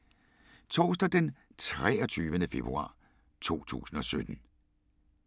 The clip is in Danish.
Torsdag d. 23. februar 2017